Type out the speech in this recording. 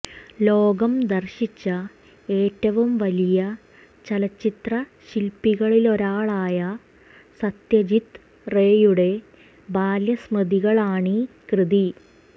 ലോകം ദർശിച്ച ഏറ്റവും വലിയ ചലച്ചിത്ര ശില്പികളിലൊരാളായ സത്യജിത്റേയുടെ ബാല്യസ്മൃതികളാണീ കൃതി